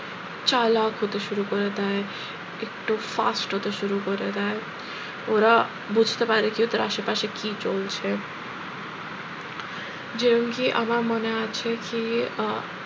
চালাক হতে শুরু করে দেয় একটু fast হতে শুরু করে দেয় ওরা বুঝতে পারে কি ওদের আশেপাশে কি চলছে যেরম কি আমার মনে আছে কি আহ